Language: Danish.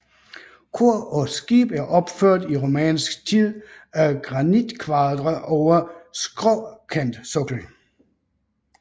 Kor og skib er opført i romansk tid af granitkvadre over skråkantsokkel